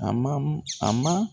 A mamu a ma.